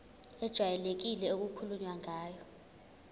ejwayelekile okukhulunywe ngayo